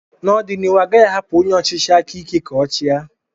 N'ọdịnihu, a gaghị ahapụ onye ọchịchị aka ike ka ochia.